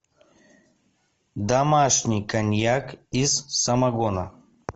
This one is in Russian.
домашний коньяк из самогона